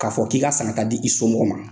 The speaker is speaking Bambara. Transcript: K'a fɔ k'i ka san ka t'a d'i somɔgɔw ma.